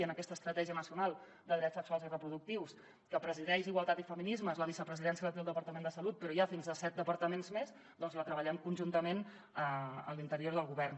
i en aquesta estratègia nacional de drets sexuals i reproductius que presideix igualtat i feminismes la vicepresidència la té el departament de salut però hi ha fins a set departaments més ja que la treballem conjuntament a l’interior del govern